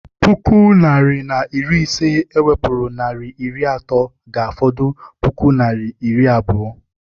Puku naịra na iri ise e wepụrụ naịra iri atọ ga-afọdụ puku naịra na iri abụọ.